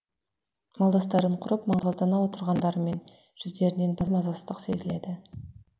малдастарын құрып маңғаздана отырғандарымен жүздерінен бір мазасыздық сезіледі